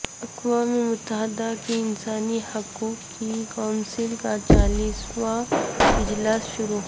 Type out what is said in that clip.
اقوام متحدہ کی انسانی حقوق کی کونسل کا چالیسواں اجلاس شروع